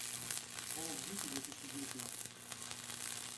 колл оф дьюти две тысячи девятнадцать